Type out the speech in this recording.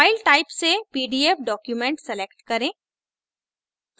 file type से pdf document select करें